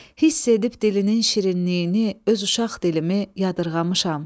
Hiss edib dilinin şirinliyini, öz uşaq dilimi yadırğamışam.